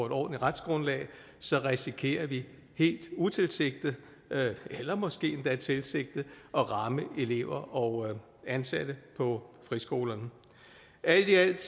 et ordentligt retsgrundlag så risikerer vi helt utilsigtet eller måske endda tilsigtet at ramme elever og ansatte på friskolerne alt i alt